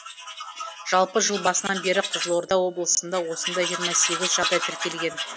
жалпы жыл басынан бері қызылорда облысында осындай жиырма саегіз жағдай тіркелген